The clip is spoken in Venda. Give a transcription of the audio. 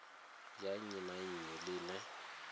ya nnyi na nnyi ḽine